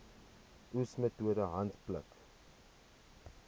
oes metode handpluk